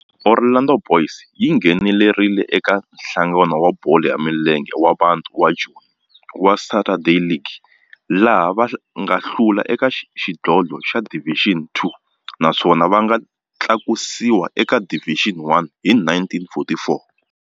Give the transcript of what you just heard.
Orlando Boys yi nghenelerile eka Nhlangano wa Bolo ya Milenge wa Bantu wa Joni wa Saturday League, laha va nga hlula eka xidlodlo xa Division Two naswona va nga tlakusiwa eka Division One hi 1944.